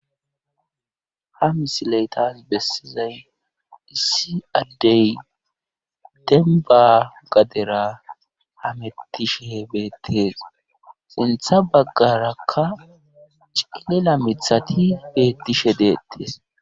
Ha misiley tani bessizay issi addey demba gadera hamettishe beettes. Sintha baggarakka cilila mithati beettishe deettes.